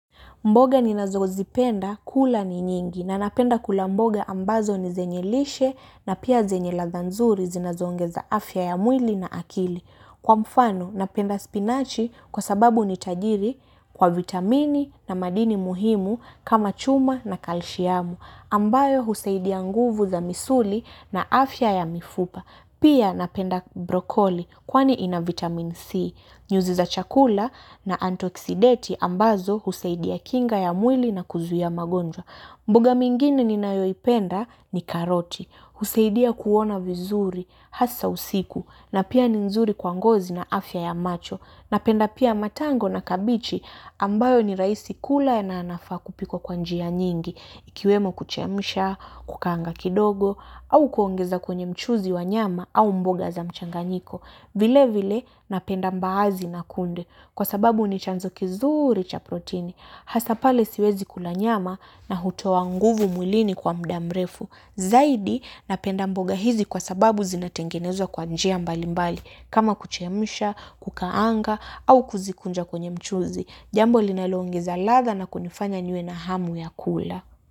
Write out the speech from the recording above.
Mboga ninazo zipenda kula ni nyingi na napenda kula mboga ambazo ni zenye lishe na pia zenye ladha nzuri zinazoongeza afya ya mwili na akili. Kwa mfano napenda spinach kwa sababu ni tajiri kwa vitamini na madini muhimu kama chuma na kalshiamu ambayo husaidia nguvu za misuli na afya ya mifupa. Pia napenda broccoli kwani ina vitamin C, nyuzi za chakula na antioxidanti ambazo husaidia kinga ya mwili na kuzuia magonjwa. Mboga minginime ninayoipenda ni karoti, husaidia kuona vizuri, hasa usiku, na pia ni nzuri kwa ngozi na afya ya macho. Napenda pia matango na kabichi ambayo ni rahisi kula na yanafaa kupikwa kwa njia nyingi, ikiwemo kuchemsha, kukaanga kidogo, au kuongeza kwenye mchuzi wa nyama au mboga za mchanganyiko. Vile vile napenda mbaazi na kunde, kwa sababu ni chanzo kizuri cha proteini. Hasa pale siwezi kula nyama na hutoa nguvu mwilini kwa muda mrefu. Zaidi napenda mboga hizi kwa sababu zinatengenezwa kwa njia mbali mbali. Kama kuchemsha, kukaanga au kuzikunja kwenye mchuzi. Jambo linaloongeza ladha na kunifanya niwe na hamu ya kula.